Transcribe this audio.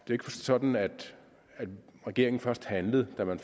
ikke sådan at regeringen først handlede da man